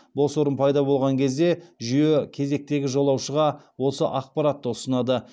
бос орын пайда болған кезде жүйе кезектегі жолаушыға осы ақпаратты ұсынады